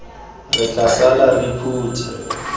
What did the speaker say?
re tla sala re phutha